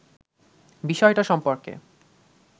বিষয়টা সম্পর্কে